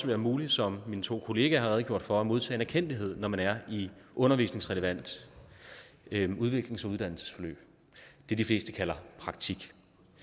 være muligt som mine to kollegaer har redegjort for at modtage en erkendtlighed når man er i et undervisningsrelevant udviklings og uddannelsesforløb det de fleste kalder praktik